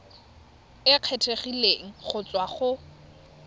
e kgethegileng go tswa go